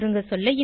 சுருங்கசொல்ல